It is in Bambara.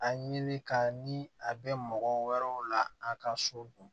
A ɲini ka ni a bɛ mɔgɔ wɛrɛw la a ka so dun